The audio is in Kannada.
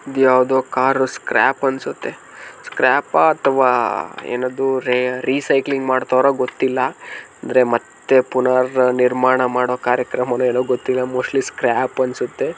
ಇದ್ ಯಾವ್ದೋ ಕಾರ್ ಸ್ಕ್ರಾಪ್ ಅನ್ಸುತ್ತೆ ಸ್ಕ್ರಾಪ ಅಥವಾ ಏನದು ರೇ ರಿಸೈಕಲಿಂಗ್ ಮಾಡ್ತಾವ್ರ ಗೊತ್ತಿಲ್ಲ ಅಂದ್ರೆ ಮತ್ತೆ ಪುನರ್ ನಿರ್ಮಾಣ ಮಾಡೋ ಕಾರ್ಯಕ್ರಮ ಏನೋ ಗೊತ್ತಿಲ್ಲ ಮೋಸ್ಟ್ಲಿ ಸ್ಕ್ರಾಪ್ ಅನ್ಸುತ್ತೆ.